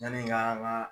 Yani k'an ka